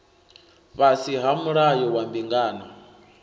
fhasi ha mulayo wa mbingano